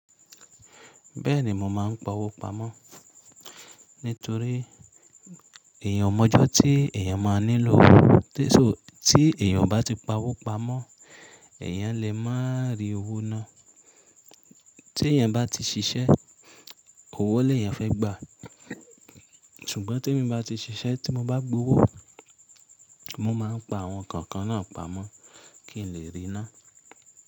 Bẹ́ẹ̀ni mo máa ń pa owó pamọ́ nítorí èyàn ò mo ọjọ́ tí èyàn máa nílò owó. Tí èyàn ò báti pa owó pamọ́ èyàn lè má rí owó náà. Tí èyàn bá ti ṣiṣẹ́ owó lè yẹn fẹ́ gbà. Ṣùgbọ́n tí èmi bá ti ṣiṣẹ́ tí mo bá gbowó mo máa ń pa àwọn nǹkan kan náà pamọ́ kí n lè rí ná.